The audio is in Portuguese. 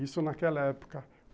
Isso naquela época.